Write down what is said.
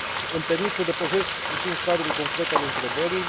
Îmi permit să depășesc puțin cadrul concret al întrebării.